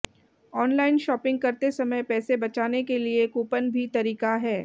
online shopping करते समय पैसे बचाने के लिए कूपन भी तरीका है